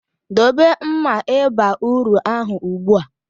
Dobe mma ịba uru ahụ ugbu a!